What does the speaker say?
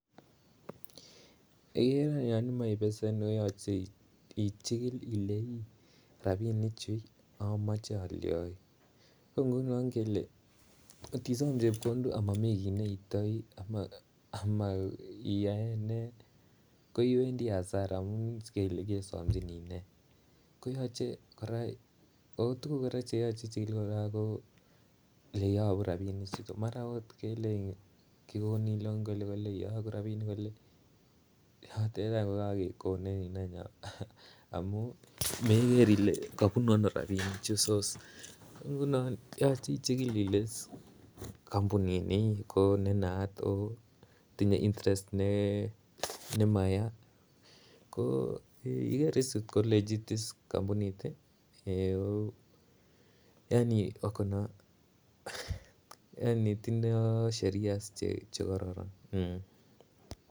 Yeiker yon imache ibesen koyache ichikil ile rabinik chu, amache alionji. Ko nguno ngele, kotisom chepkondok amamii kiy neiitioi, ama-ama iyae nee, koiwendi asara amu sikele kesomchini nee. Koyache kora, ako tuguk cheyache ichikil kora ko ole iyogu rabinik chuto. Mara kot kelenjin kikonin loan kole kole, iyogu rabinik kole. Yotok ikai koyakekonin any. Amu meker ile kabunu ano rabinik chu source. Nguno yache ichikil ile kampunit ni ko ne naat, ako tinye intereset ne-nemaya. Ko ikere ko legit is kampunit. Yaani wako na, yaani tindoi sheria che kararan um.